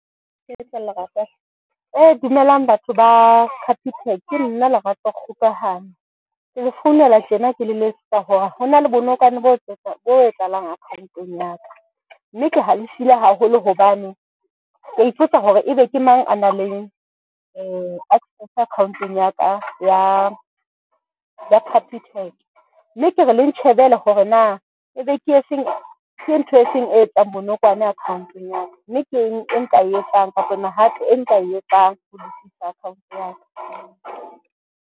Dumelang batho ba Capitec. Ke nna Lerato Kgokahanyo. Ke le founela tjena ke le letsetsa hore hona le bonokwane bo bo etsahalang account-ong ya ka mme, ke halefile haholo hobane ke a ipotsa hore ebe ke mang a nang le access account-ong ya ka ya ya Capitec. Mme kere le ntjhebele hore na ebe ke efeng. Ke ntho e feng e etsang bonokwane account-eng ya ka mme ke eng e nka e etsang hore na hape e nka e etsang account ya ka.